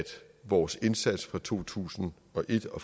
vores indsats fra to tusind og et og